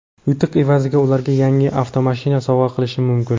Yutuq evaziga ularga yangi avtomashina sovg‘a qilishim mumkin.